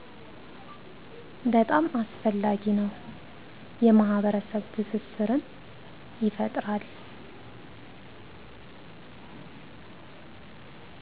በጣም አስፈላጊ ነው የማህበረሰብ ትስስርን ይፈጥራል